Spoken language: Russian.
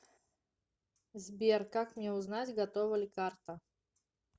сбер как мне узнать готова ли карта